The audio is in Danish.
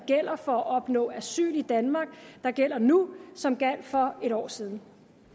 for at opnå asyl i danmark nu som for en år siden